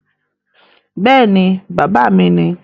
Bẹ́ẹ̀ ni, bàbá mi ni